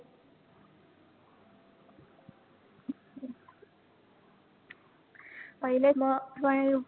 पहिले मग पण पहिले